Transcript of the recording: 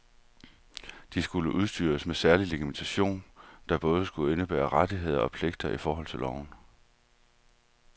De skulle udstyres med særlig legitimation, der både skulle indebære rettigheder og pligter i forhold til loven.